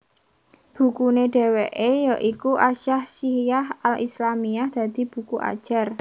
Bukune dheweke ya iku As Syakhshiyyah al Islâmiyyah dadi buku ajar